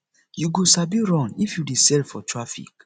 you go sabi run if you dey sell for traffic